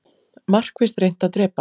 Markvisst reynt að drepa